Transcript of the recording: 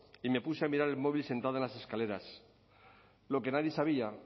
y me puse a mirar el móvil sentada en las escaleras lo que nadie sabía